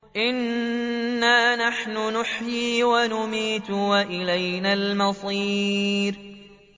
إِنَّا نَحْنُ نُحْيِي وَنُمِيتُ وَإِلَيْنَا الْمَصِيرُ